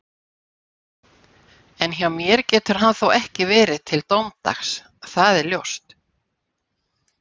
En hjá mér getur hann þó ekki verið til dómsdags, það er ljóst